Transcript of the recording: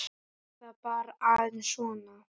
Var það bara aðeins svona?